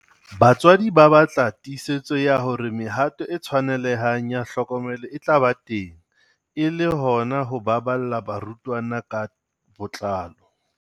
Batswadi ba batla tiisetso ya hore mehato e tshwanelehang ya tlhokomelo e tla ba teng e le hona ho baballa barutwana ka botlalo.